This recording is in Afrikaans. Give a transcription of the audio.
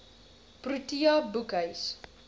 protea boekhuis